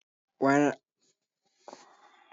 Wa na yana aiki a Haɗeja.